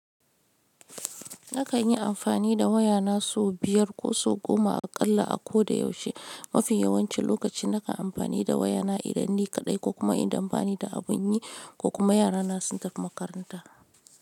Nakan yi amfani da wayana sau biyar ko sau goma aƙalla a ko da yaushe- mafi yawancin lokacin da nakan amfani da wayana idan nikaɗai ko kuma idan banida abun yi ko kuma yarana sun tafi makaranta.